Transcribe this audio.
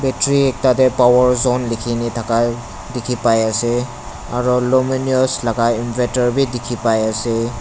battery ekta teh power zone leki kina taka teki pai ase aro luminous laga inverter beh teki bai ase.